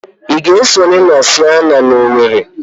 Ị ga-esonye na Sienna na Owerri?